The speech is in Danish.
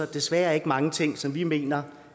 det desværre ikke mange ting som vi mener